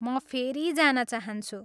म फेरि जान चाहन्छु।